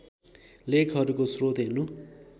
लेखहरूको स्रोत हेर्नु